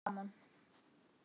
En gaman!